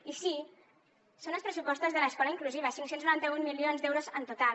i sí són els pressupostos de l’escola inclusiva cinc cents i noranta un milions d’euros en total